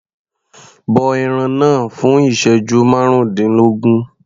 Bọ ẹran náà fún ìsẹ́jú márùndínlógún.